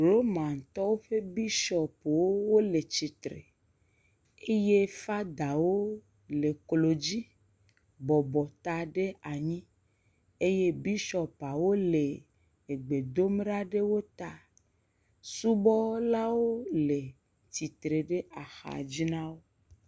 Romantɔwo ƒe bishɔpuwo le tsitre eye fadawo le klo dzi bɔbɔ ta ɖe anyi eye bishɔpawo le egbe dom ɖe wo ta. Subɔlawo le tsitre ɖe axa dzi na wo.